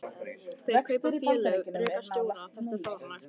Þeir kaupa félög, reka stjóra, þetta er fáránlegt.